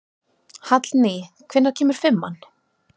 Hallný, hvenær kemur fimman?